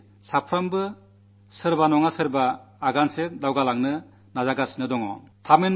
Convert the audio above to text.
എല്ലാവരുംതന്നെ ഒരു ചുവട് മുന്നോട്ടുനീങ്ങാൻ ശ്രമിച്ചിട്ടുണ്ടെന്ന് നമുക്കു പറയാനാകും